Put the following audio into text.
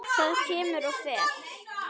Það kemur og fer.